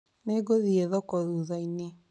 Nĩ ngũthiĩ thoko thuthainĩ